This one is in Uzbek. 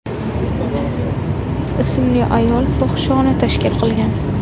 ismli ayol fohishaxona tashkil qilgan.